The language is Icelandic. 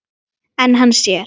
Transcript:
En hann sér.